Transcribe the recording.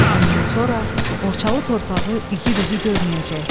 Bundan sonra Borçalı torpağı igid üzü görməyəcək.